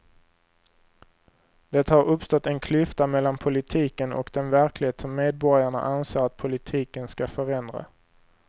Det har uppstått en klyfta mellan politiken och den verklighet som medborgarna anser att politiken ska förändra.